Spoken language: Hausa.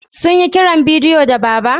Sun yi kiran bidiyo da Baba?